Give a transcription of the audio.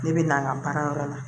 Ne bɛ na n ka baarayɔrɔ la